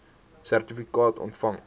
sertifikaat ontvang